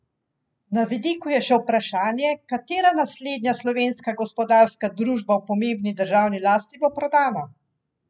Na vidiku je še vprašanje, katera naslednja slovenska gospodarska družba v pomembni državni lasti bo prodana?